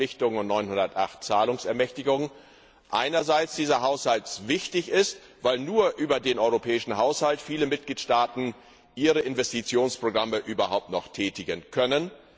Euro Verpflichtungsermächtigungen und 908 Mrd. Euro Zahlungsermächtigungen dieser Haushalt wichtig ist, weil nur über den europäischen Haushalt viele Mitgliedstaaten ihre Investitionsprogramme überhaupt noch tätigen können.